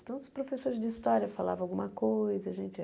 Então, os professores de história falavam alguma coisa. A gente